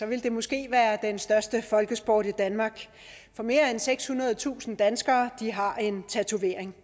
ville det måske være den største folkesport i danmark for mere end sekshundredetusind danskere har en tatovering